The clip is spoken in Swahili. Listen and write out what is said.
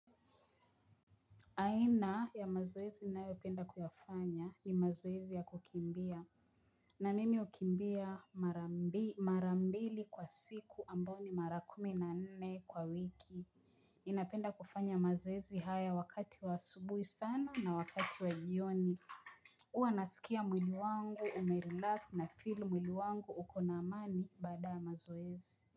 Aina ya mazoezi inayopenda kuyafanya ni mazoezi ya kukimbia na mimi ukimbia marambili kwa siku ambao ni mara kuminane kwa wiki. Inapenda kufanya mazoezi haya wakati wa subuhi sana na wakati wa jioni. Uwa nasikia mwili wangu, umerilax na filu mwili wangu ukona amani baada ya mazoezi.